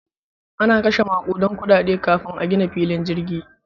Ana kashe makudan kudade kafin a gina filin jirgi.